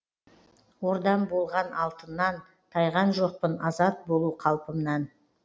ордам болған алтыннан тайған жоқпын азат болу қалпымнан